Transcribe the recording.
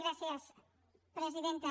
gràcies presidenta